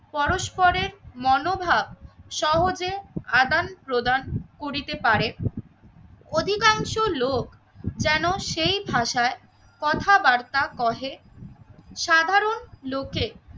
পরস্পরের মনোভাব সহজে আদান প্রদান করিতে পারে। অধিকাংশ লোক যেন সেই ভাষায় কথাবার্তা বলে। সাধারণ লোকে